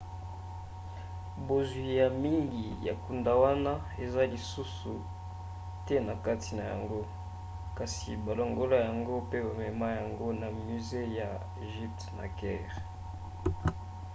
bozwi ya mingi ya nkuda wana eza lisusu te na kati na yango kasi balongola yango pe bamema yango na musée ya egypte na caire